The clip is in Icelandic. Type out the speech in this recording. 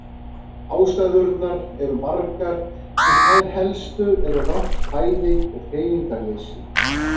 Ástæðurnar eru margar en þær helstu eru rangt fæði og hreyfingarleysi.